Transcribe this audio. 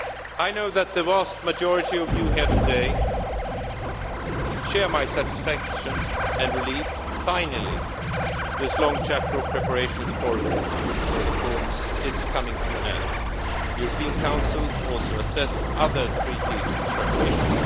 I know that the vast majority of you here today share my satisfaction and relief that finally, this long chapter of preparations for institutional reform is coming to an end. The European Council also assessed other treaty preparations.